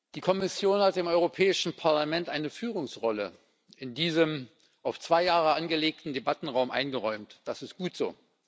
Die Kommission hat dem Europäischen Parlament eine Führungsrolle in diesem auf zwei Jahre angelegten Debattenraum eingeräumt. Das ist gut so!